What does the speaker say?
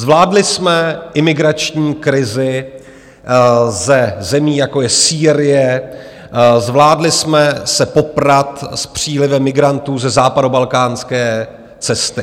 Zvládli jsme imigrační krizi ze zemí, jako je Sýrie, zvládli jsme se poprat s přílivem migrantů ze západobalkánské cesty.